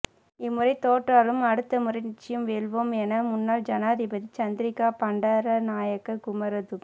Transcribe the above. இம்முறை தோற்றாலும் அடுத்தமுறை நிச்சயம் வெல்வோம் என முன்னாள் ஜனாதிபதி சந்திரிகா பண்டாரநாயக்க குமாரதுங